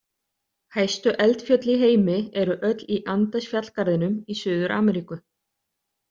Hæstu eldfjöll í heimi eru öll í Andesfjallgarðinum í Suður-Ameríku.